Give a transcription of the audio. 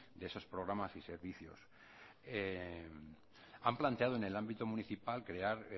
de esos programas y servicios han planteado en el ámbito municipal crear